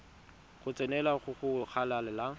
go tsenelela go go golang